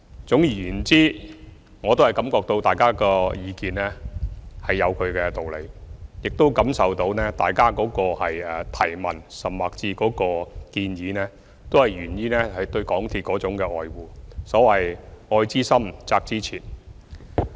總而言之，我感覺到大家的意見有其道理，亦感受到大家的提問，甚至建議都源於對港鐵的愛護，所謂"愛之深，責之切"。